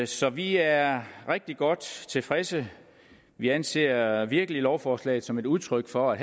så vi er rigtig godt tilfredse vi anser virkelig lovforslaget som et udtryk for at